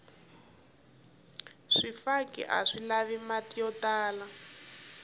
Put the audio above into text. swifaki aswi lavi mati yo tala